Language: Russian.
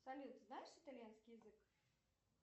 салют знаешь итальянский язык